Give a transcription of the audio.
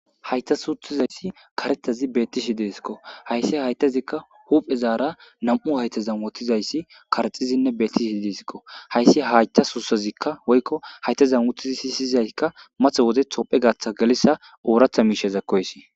hayta suuthizayssi karetazi beettishi deesikko hayssi haytazikka huphe zaara nam7u hayta zamotizayssi karxizinne beetisiii disikko hayssi hayta suusazikka woykko hayta zammoti si syiyzaykka math wode tophe gaatha galissa ooratha miishezakkoysi